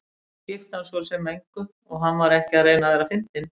Það skipti hann svo sem engu og hann var ekki að reyna að vera fyndinn.